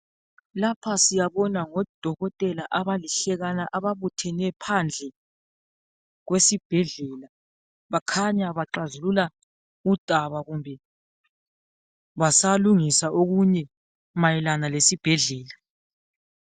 Lapha siyabona ngodokotela abalihlekana ababuthene phandle kwesibhedlela bakhanya baxazulula udaba kumbe basalungisa okunye mayelana lesibhedlela.